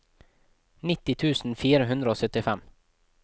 nitti tusen fire hundre og syttifem